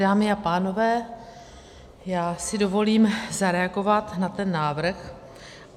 Dámy a pánové, já si dovolím zareagovat na ten návrh.